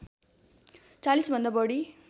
४० भन्दा बढी